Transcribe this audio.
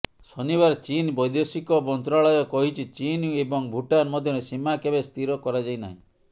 ଶନିବାର ଚୀନ୍ ବୈଦେଶିକ ମନ୍ତ୍ରଣାଳୟ କହିଛି ଚୀନ୍ ଏବଂ ଭୁଟାନ ମଧ୍ୟରେ ସୀମା କେବେ ସ୍ଥିର କରାଯାଇ ନାହିଁ